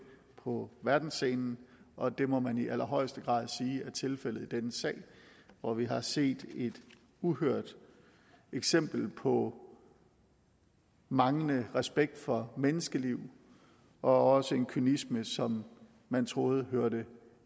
på verdensscenen og det må man i allerhøjeste grad sige er tilfældet i denne sag hvor vi har set et uhørt eksempel på manglende respekt for menneskeliv og også en kynisme som man troede hørte